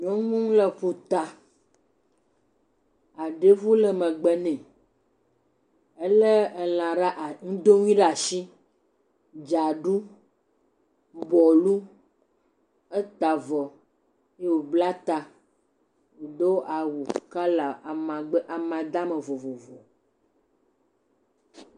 Nyɔnu le ƒuta aɖevu le megbe nɛ ele elã ɖe as…ŋdonui ɖe asi, dzaɖu, bɔlu eta avɔ ye wobla ta do awu kɔla amagbe amadama vovovo.